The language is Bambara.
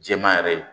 Jɛman yɛrɛ ye